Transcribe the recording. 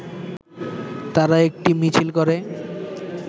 তারা একটি মিছিল করে